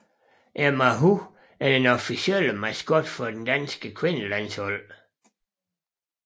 Emma Hu er den officielle maskot for det danske kvindefodboldlandshold